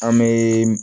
An be